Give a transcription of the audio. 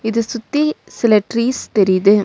இத சுத்தி சில டிரீஸ் தெரியிது.